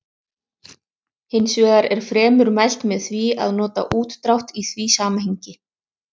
Þá áttaði ég mig allt í einu á því að hroturnar voru löngu þagnaðar.